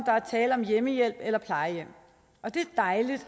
der er tale om hjemmehjælp eller plejehjem og det er dejligt